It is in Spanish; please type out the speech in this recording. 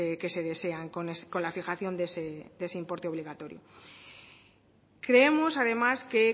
que se desean con la fijación de ese importe obligatorio creemos además que